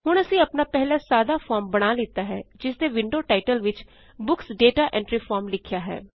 ਹੁਣ ਅਸੀਂ ਆਪਣਾ ਪਹਿਲਾ ਸਾਦਾ ਫੋਰਮ ਬਣਾ ਲਿੱਤਾ ਹੈ ਜਿਸਦੇ ਵਿੰਡੋ ਟਾਇਟਲ ਵਿੱਚ ਬੁੱਕਸ ਦਾਤਾ ਐਂਟਰੀ ਫਾਰਮ ਲਿਖਿਆ ਹੈ